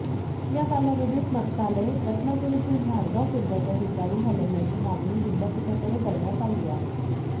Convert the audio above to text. या कालावधीत मत्स्यालय रत्नागिरीतील झाडगाव केंद्राच्या ठिकाणी हलवण्याची मागणी विद्यापीठाकडे करण्यात आली आहे